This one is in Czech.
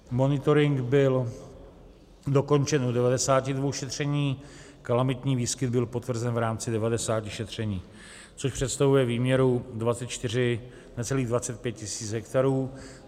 Monitoring byl dokončen u 92 šetření, kalamitní výskyt byl potvrzen v rámci 90 šetření, což představuje výměru 24, necelých 25 tisíc hektarů.